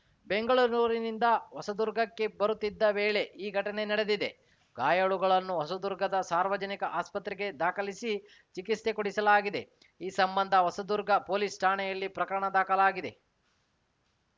ಬೆಂಗಳೂರಿನಿಂದ ಹೊಸದುರ್ಗಕ್ಕೆ ಬರುತ್ತಿದ್ದ ವೇಳೆ ಈ ಘಟನೆ ನಡೆದಿದೆ ಗಾಯಾಳುಗಳನ್ನು ಹೊಸದುರ್ಗದ ಸಾರ್ವಜನಿಕ ಆಸ್ಪತ್ರೆಗೆ ದಾಖಲಿಸಿ ಚಿಕಿತ್ಸೆ ಕೊಡಿಸಲಾಗಿದೆ ಈ ಸಂಬಂಧ ಹೊಸದುರ್ಗ ಪೊಲೀಸ್‌ ಠಾಣೆಯಲ್ಲಿ ಪ್ರಕರಣ ದಾಖಲಾಗಿದೆ